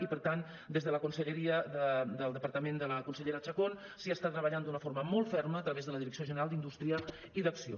i per tant des de la conselleria del departament de la consellera chacón s’hi està treballant d’una forma molt ferma a través de la direcció general d’indústria i d’acció